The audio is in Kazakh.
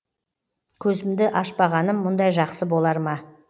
көзімді ашпағаным мұндай жақсы болар ма